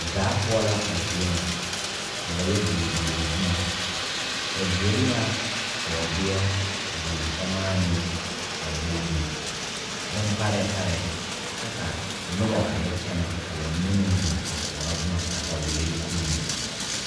Daa pou la a zie nga ka ba ye douri douri buma ba douri la boɔdie,a douri samanii,a douri bunparee paree kye ka nuba a ye kyene ka ba mene meng zeng a kouro buma katawiiri pulin.